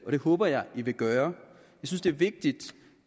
håber jeg man vil gøre jeg synes det er vigtigt